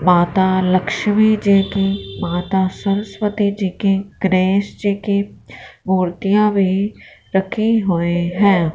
माता लक्ष्मी जी की माता सरस्वती जी की गणेश जी की मूर्तियां भी रखी हुई हैं।